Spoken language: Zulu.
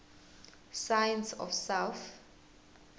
science of south